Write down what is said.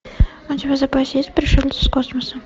у тебя в запасе есть пришелец из космоса